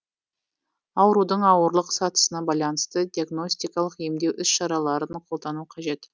аурудың ауырлық сатысына байланысты диагностикалық емдеу іс шараларын қолдану қажет